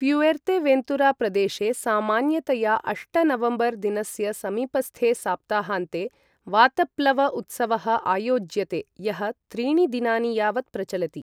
Fuerteventura प्रदेशे सामान्यतया अष्ट नवम्बर् दिनस्य समीपस्थे सप्ताहान्ते वातप्लव उत्सवः आयोज्यते, यः त्रीणि दिनानि यावत् प्रचलति।